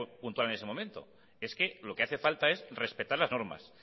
puntual en ese momento es que lo que hace falta es respetar las normas